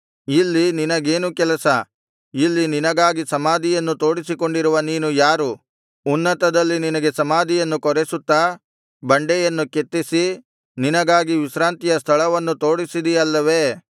ಇಲ್ಲಿ ನಿನಗೇನು ಕೆಲಸ ಇಲ್ಲಿ ನಿನಗಾಗಿ ಸಮಾಧಿಯನ್ನು ತೋಡಿಸಿಕೊಂಡಿರುವ ನೀನು ಯಾರು ಉನ್ನತದಲ್ಲಿ ನಿನಗೆ ಸಮಾಧಿಯನ್ನು ಕೊರೆಸುತ್ತಾ ಬಂಡೆಯನ್ನು ಕೆತ್ತಿಸಿ ನಿನಗಾಗಿ ವಿಶ್ರಾಂತಿಯ ಸ್ಥಳವನ್ನು ತೋಡಿಸಿದಿ ಅಲ್ಲವೇ